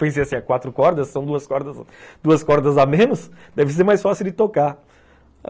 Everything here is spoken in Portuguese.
Pensei assim, quatro cordas são duas cordas duas cordas a menos, deve ser mais fácil de tocar.